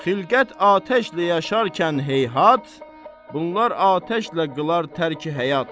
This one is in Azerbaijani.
Xilqət atəşlə yaşarkən heyhat, bunlar atəşlə qılar tərki həyat.